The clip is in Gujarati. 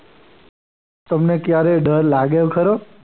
હું તમને ક્યારેય ડર લાગ્યો ખરો?